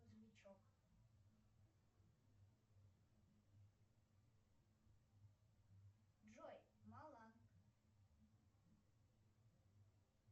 грузовичек джой мала